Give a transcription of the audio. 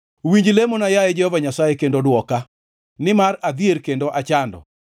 Winj lamona, yaye Jehova Nyasaye, kendo dwoka, nimar adhier kendo achando.